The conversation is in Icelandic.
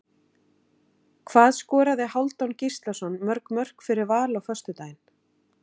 Hvað skoraði Hálfdán Gíslason mörg mörk fyrir Val á föstudaginn?